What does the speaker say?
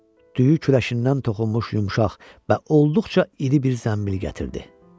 Düyü küləşindən toxunmuş yumşaq və olduqca iri bir zənbil gətirdi.